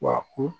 Wa ko